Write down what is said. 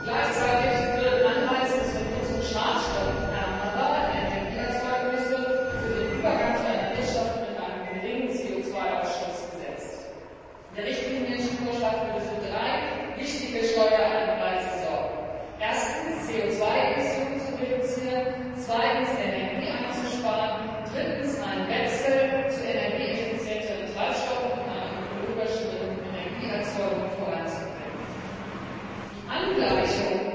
Gleichzeitig würden Anreize zur Nutzung schadstoffärmerer Energieerzeugnisse für den Übergang zu einer Wirtschaft mit einem geringen CO Ausstoß geschaffen. Der Richtlinienvorschlag würde für drei wichtige Steueranreize sorgen Erstens, CO 2 Emissionen zu reduzieren, zweitens, Energie einzusparen, drittens, einen Wechsel zu energieeffizienteren Treibstoffen und einer ökologischeren Energieerzeugung voranzubringen. Die Angleichung